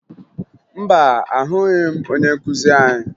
Mba, ahụghị m onye nkụzi anyị